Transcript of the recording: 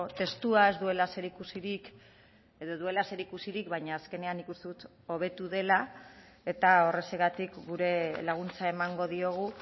testua ez duela zer ikusirik edo duela zer ikusirik baina azkenean nik uste dut hobetu dela eta horrexegatik gure laguntza emango diogu